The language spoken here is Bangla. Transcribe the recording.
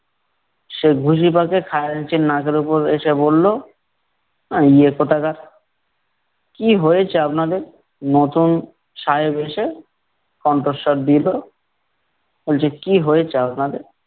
সে পাকিয়ে খাজাঞ্চির নাকের ওপর এসে বললো, কোথাকার । কি হয়েছে আপনাদের? নতুন সাহেব এসে কণ্ঠস্বর দিলো। বলছে কি হয়েছে আপনাদের।